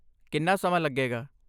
ਕਿੰਨਾ ਸਮਾਂ ਲੱਗੇਗਾ?